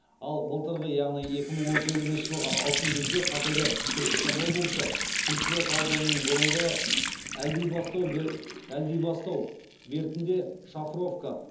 ал былтырғы яғни екі мың он сегізінші жылғы алтын күзде қазіргі түркістан облысы түлкібас ауданының бұрынғы әлдибастау бертінде шавровка